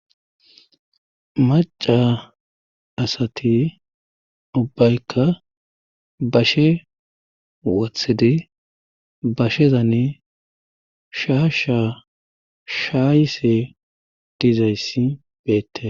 maca asati ubbaykka bashe wothidi bashezane sha sha shaayse dizayssi beette